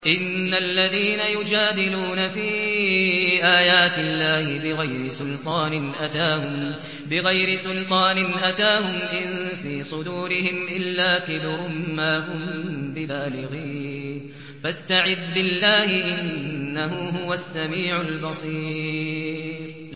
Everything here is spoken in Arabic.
إِنَّ الَّذِينَ يُجَادِلُونَ فِي آيَاتِ اللَّهِ بِغَيْرِ سُلْطَانٍ أَتَاهُمْ ۙ إِن فِي صُدُورِهِمْ إِلَّا كِبْرٌ مَّا هُم بِبَالِغِيهِ ۚ فَاسْتَعِذْ بِاللَّهِ ۖ إِنَّهُ هُوَ السَّمِيعُ الْبَصِيرُ